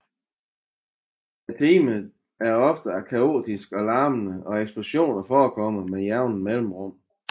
Timerne er ofte kaotiske og larmende og eksplosioner forekommer med jævne mellemrum